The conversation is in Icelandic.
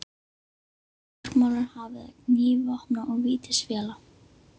Og nú bergmálar hafið af gný vopna og vítisvéla.